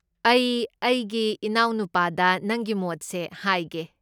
ꯑꯩ ꯑꯩꯒꯤ ꯏꯅꯥꯎꯅꯨꯄꯥꯗ ꯅꯪꯒꯤ ꯃꯣꯗꯁꯦ ꯍꯥꯏꯒꯦ꯫